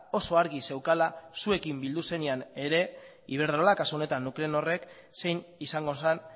oso argi zeukala zuekin bildu zenean ere iberdrolak kasu honetan nuclenorrek zein izango zen